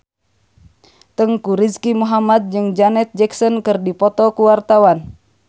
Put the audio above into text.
Teuku Rizky Muhammad jeung Janet Jackson keur dipoto ku wartawan